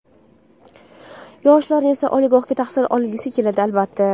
Yoshlarni esa, oliygohda tahsil olgisi keladi, albatta.